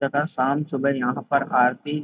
तथा शाम सुबह यहाँ पर आरती --